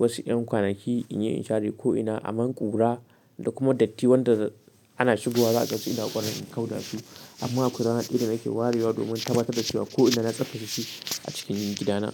wasu ƴan kwanaki in yi in share ko'ina aman ƙura da kuma datti wanda ana shigowa za'a ga suna ƙwarin in kau da su. Amma akwai rana ɗaya da nake warewa domin tabatta da cewa ko'ina na tsabtace shi a cikin gidana.